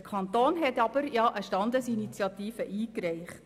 Der Kanton hat aber eine Standesinitiative eingereicht.